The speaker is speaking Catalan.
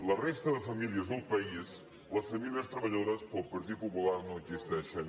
la resta de famílies del país les famílies treballadores per al partit popular no existeixen